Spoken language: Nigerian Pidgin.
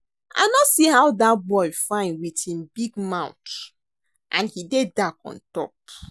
I no see how dat boy fine with him big mouth and he dey dark on top